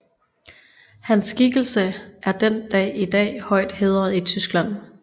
Hans skikkelse er den dag i dag højt hædret i Tyskland